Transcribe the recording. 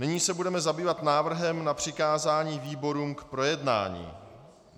Nyní se budeme zabývat návrhem na přikázání výborům k projednání.